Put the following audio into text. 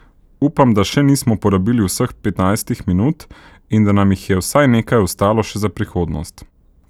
Upam, da še nismo porabili vseh petnajstih minut in da nam jih je vsaj nekaj ostalo še za prihodnost.